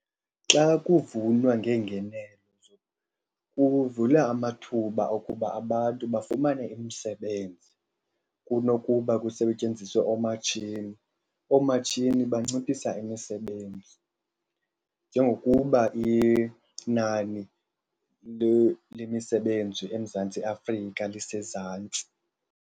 Xa kuvunwa ngeengenelo kuvula amathuba okuba abantu bafumane imisebenzi kunokuba kusetyenziswe oomatshini. Oomatshini banciphisa imisebenzi njengokuba inani lemisebenzi eMzantsi Afrika lisezantsi.